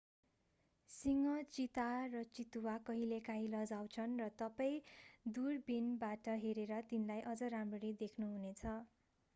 सिंह चीता र चितुवा कहिलेकाँही लजाउँछन् र तपाईं दूरबीनबाट हेरेर तिनलाई अझ राम्ररी देख्नु हुने छ